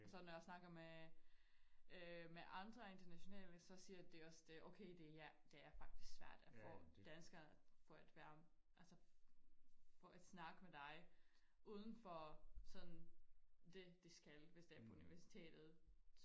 Og så når jeg snakker med øh med andre internationale så siger de også det okay det er det er faktisk svært at få danskere for at være altså for at snakke med dig uden for sådan det de skal hvis det er på universitetet